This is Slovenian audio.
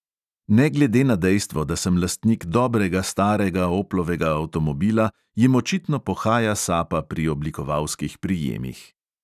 Ne glede na dejstvo, da sem lastnik dobrega starega oplovega avtomobila, jim očitno pohaja sapa pri oblikovalskih prijemih.